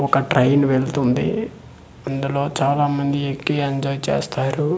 ఒక ట్రైన్ వెళ్తుంది అందులో చాలామంది ఎక్కి ఎంజాయ్ చేస్తారు.